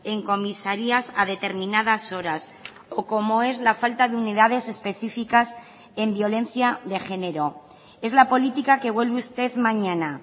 en comisarías a determinadas horas o como es la falta de unidades específicas en violencia de género es la política que vuelve usted mañana